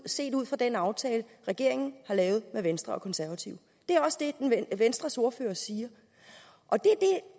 set ud fra den aftale regeringen har lavet med venstre og konservative det er også det venstres ordfører siger og det